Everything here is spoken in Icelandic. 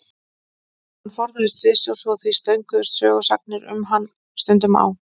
Hann forðaðist sviðsljósið og því stönguðust sögusagnir um hann stundum á.